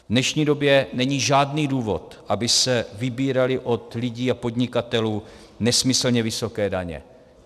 V dnešní době není žádný důvod, aby se vybíraly od lidí a podnikatelů nesmyslně vysoké daně.